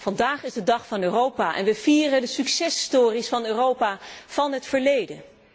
Vandaag is de dag van Europa en we vieren de succes stories van Europa van het verleden.